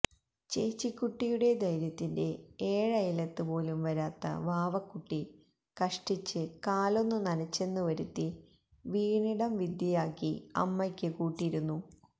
ചേച്ചിക്കുട്ടിയുടെ ധൈര്യത്തിന്റെ ഏഴയലത്ത് പോലും വരാത്ത വാവക്കുട്ടി കഷ്ടിച്ച് കാലൊന്ന് നനച്ചെന്ന് വരുത്തി വീണിടം വിദ്യയാക്കി അമ്മയ്ക്ക് കൂട്ടിരുന്നു